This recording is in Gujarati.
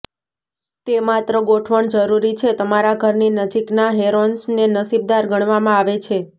તે માત્ર ગોઠવણ જરૂરી છે તમારા ઘરની નજીકના હેરોન્સને નસીબદાર ગણવામાં આવે છે